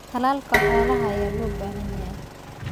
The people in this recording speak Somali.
Tallaalka xoolaha ayaa loo baahan yahay.